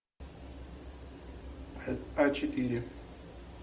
а четыре